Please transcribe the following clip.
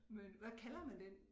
Men hvad kalder man den